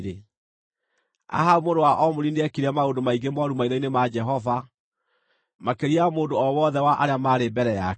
Ahabu mũrũ wa Omuri nĩekire maũndũ maingĩ mooru maitho-inĩ ma Jehova, makĩria ya mũndũ o wothe wa arĩa maarĩ mbere yake.